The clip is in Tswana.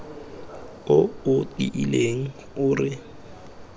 o o tiileng o re